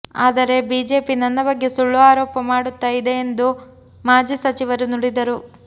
ಆದರೆ ಬಿಜೆಪಿ ನನ್ನ ಬಗ್ಗೆ ಸುಳ್ಳು ಆರೋಪ ಮಾಡುತ್ತಾ ಇದೆಯೆಂದು ಮಾಜಿ ಸಚಿವರು ನುಡಿದರು